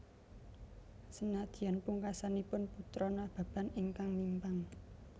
Senadyan pungkasanipun Putra Nababan ingkang mimpang